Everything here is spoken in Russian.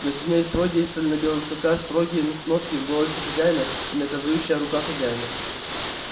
но сильнее всего действовали на белого клыка строгие н нотки в голосе хозяина и наказующая рука хозяина